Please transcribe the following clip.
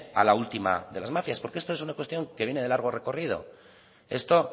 a la última de las mafias porque esto es una cuestión que viene de largo recorrido esto